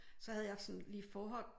Så havde jeg sådan lige forhånd